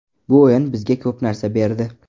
Bu o‘yin bizga ko‘p narsa berdi.